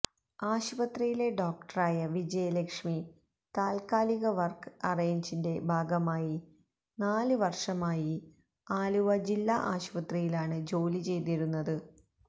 ആശുപത്രിയിലെ ഡോക്ടറായ വിജയലക്ഷ്മി താത്കാലിക വര്ക്ക് അറേയ്ഞ്ചിന്റെ ഭാഗമായി നാല് വര്ഷമായി ആലുവ ജില്ലാ ആശുപത്രിയിലാണ് ജോലി ചെയ്തിരുന്നത്